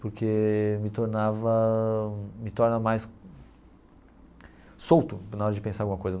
Porque me tornava, me torna mais solto na hora de pensar alguma coisa.